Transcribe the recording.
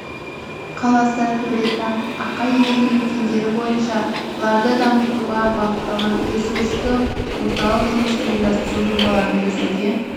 қаласы төретам ақай елді мекендері бойынша ларды дамытуға бағытталған ресурстық орталық жұмысын ұйымдастыру жобаларын жүзеге